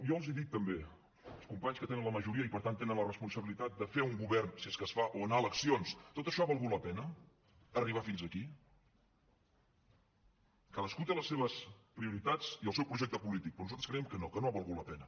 jo els dic també als companys que tenen la majoria i per tant que tenen la responsabilitat de fer un govern si és que es fa o anar a eleccions tot això ha valgut la pena arribar fins aquí cadascú té les seves prioritats i el seu projecte polític però nosaltres creiem que no que no ha valgut la pena